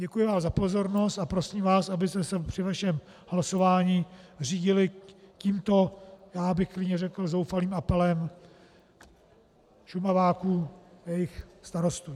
Děkuji vám za pozornost a prosím vás, abyste se při vašem hlasování řídili tímto - já bych klidně řekl zoufalým - apelem Šumaváků a jejich starostů.